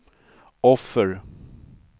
offer